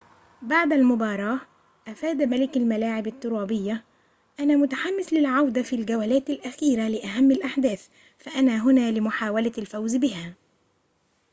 بعد المباراة أفاد ملك الملاعب الترابية أنا متحمس للعودة في الجولات الأخيرة لأهم الأحداث فأنا هنا لمحاولة الفوز بهذا